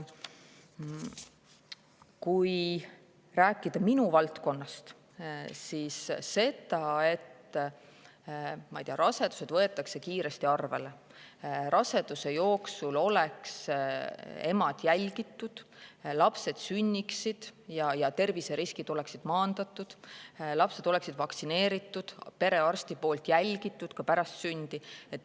Kui rääkida minu valdkonnast, siis, et rasedused võetakse kiiresti arvele, et naised oleksid raseduse jooksul jälgitud, et lapsed sünniksid ja et terviseriskid oleksid maandatud, et lapsed oleksid vaktsineeritud ja perearsti juures jälgitud ka pärast sündi.